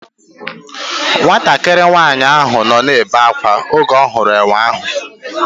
Nwatakịrị nwaanyị ahụ nọ na-ebe akwa oge ọ hụrụ enwe ahụ